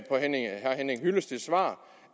herre henning hyllesteds svar